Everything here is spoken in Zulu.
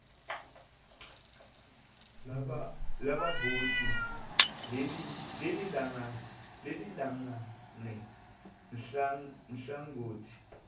labavoti lilingane nhlangothi